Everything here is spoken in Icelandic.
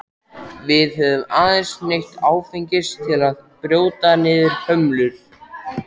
Við höfum aðeins neytt áfengis til að brjóta niður hömlur.